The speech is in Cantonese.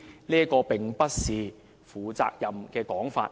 這並不是負責任的說法。